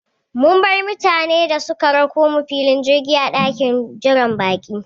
Mun bar mutane da suka rakomu filin jirgi a ɗakin jiran baƙi